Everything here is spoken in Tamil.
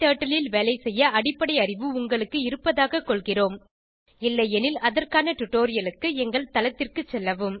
க்டர்ட்டில் ல் வேலைசெய்ய அடிப்படை அறிவு உங்களுக்கு இருப்பதாகக் கொள்கிறோம் இல்லையெனில் அதற்கான டுடோரியலுக்கு எங்கள் தளத்திற்கு செல்லவும்